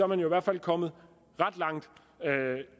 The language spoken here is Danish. man jo i hvert fald kommet ret langt